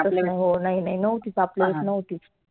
हो नइ नइ आपल्या वेळेस नव्हती.